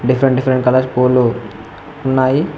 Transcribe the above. Twenty five colours పూలు ఉన్నాయి.